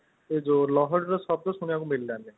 ଯୋଉ ଲହରୀର ଶବ୍ଦ ଶୁଣିବାକୁ ମିଳିଲାନି